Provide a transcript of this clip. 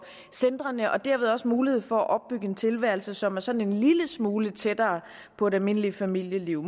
centrene og derved også mulighed for at opbygge en tilværelse som er sådan en lille smule tættere på et almindeligt familieliv